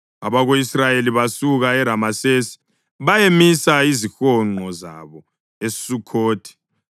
Abako-Israyeli basuka eRamesesi bayamisa izihonqo zabo eSukhothi.